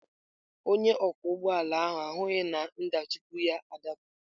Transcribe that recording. Onye ọkwọ ụgbọ ala ahụ ahụghị na nhichapụ ya adapụwo.